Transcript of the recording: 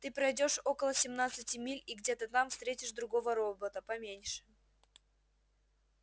ты пройдёшь около семнадцати миль и где-то там встретишь другого робота поменьше